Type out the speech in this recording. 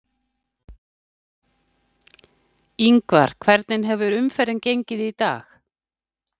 Ingvar, hvernig hefur umferðin gengið í dag?